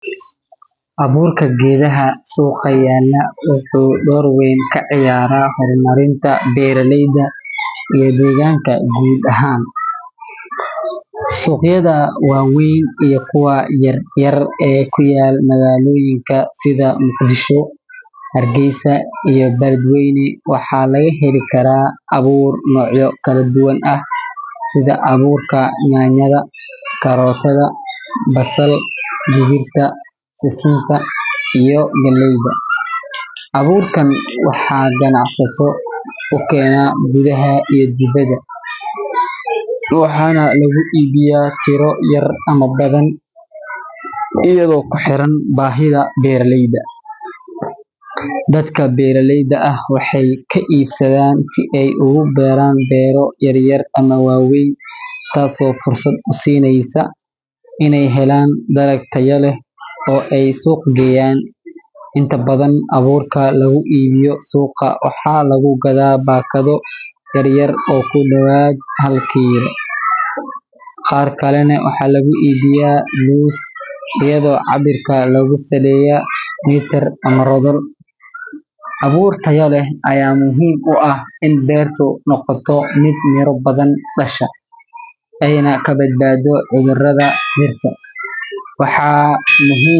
Abuurka geedaha suuqa yaalla wuxuu door weyn ka ciyaaraa horumarinta beeraleyda iyo deegaanka guud ahaan. Suuqyada waaweyn iyo kuwa yaryar ee ku yaal magaalooyinka sida Muqdisho, Hargeysa, iyo Beledweyne waxaa laga heli karaa abuur noocyo kala duwan ah sida abuurka yaanyada, karootada, basal, digirta, sisinta, iyo galleyda. Abuurkan waxaa ganacsato u keena gudaha iyo dibadda, waxaana lagu iibiyaa tiro yar ama badan iyadoo ku xiran baahida beeraleyda. Dadka beeraleyda ah waxay ka iibsadaan si ay ugu beeraan beero yaryar ama waaweyn, taasoo fursad u siineysa inay helaan dalag tayo leh oo ay suuq geeyaan. Inta badan abuurka lagu iibiyo suuqa waxaa lagu gadaa baakado yar yar oo ku dhowaad hal kiilo, qaar kalena waxaa lagu iibiyaa loose iyadoo cabbirka lagu saleeyo mitir ama rodol. Abuur tayo leh ayaa muhiim u ah in beertu noqoto mid miro badan dhasha, ayna ka badbaado cudurrada dhirta. Waxaa muhiim.